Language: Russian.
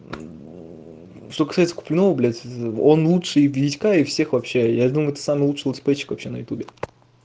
что касается куплинова блядь он лучше витька и всех вообще я думаю это самый лучший летсплейщик вообще на ютубе